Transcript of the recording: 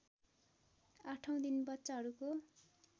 आठौँ दिन बच्चाहरूको